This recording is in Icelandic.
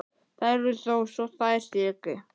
Þær eru þó svo þær séu ekki.